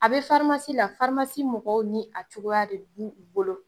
A bɛ farimasi la , farimasi mɔgɔw ni a cogoya de bɛ u bolo.